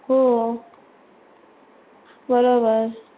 हो बरोबर